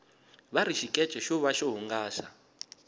vari xikece xo va xo hungasa